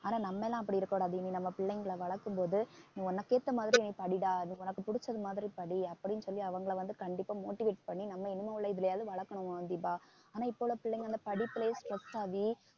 ஆனா நம்ம எல்லாம் அப்படி இருக்கக் கூடாது இனி நம்ம பிள்ளைங்களை வளர்க்கும் போது நீ உனக்கு ஏத்த மாதிரி நீ படிடா அது உனக்கு புடிச்சது மாதிரி படி அப்படின்னு சொல்லி அவங்களை வந்து கண்டிப்பா motivate பண்ணி நம்ம இனிமே உள்ள எதுலயாவது வளக்கணும் தீபா ஆனா இப்ப உள்ள பிள்ளைங்க வந்து படிப்பிலேயே stress ஆகி